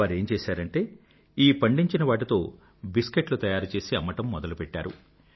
వారేం చేశారంటే ఈ పండించిన వాటితో బిస్కెట్లు తయారు చేసి అమ్మడం మొదలుపెట్టారు